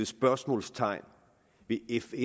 spørgsmålstegn ved fn